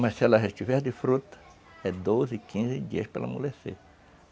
Mas se ela estiver de fruta, é doze, quinze dias para ela amolecer.